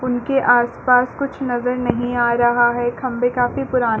उनके आस-पास कुछ नजर नही आ रहा है खम्बे काफ़ी पुरान --